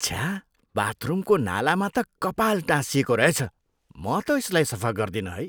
छ्या! बाथरुमको नालामा त कपाल टाँसिएको रहेछ। म त यसलाई सफा गर्दिनँ है।